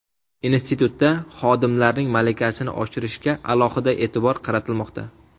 Institutda xodimlarning malakasini oshirishga alohida e’tibor qaratilmoqda.